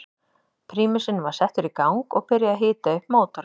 Prímusinn var settur í gang og byrjað að hita upp mótorinn.